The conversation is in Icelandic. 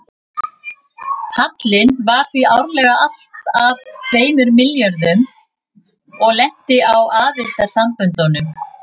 Hallinn var því árlega alltað tveimur milljónum og lenti á aðildarsamböndunum.